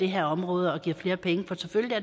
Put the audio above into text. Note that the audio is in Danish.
her område og giver flere penge for selvfølgelig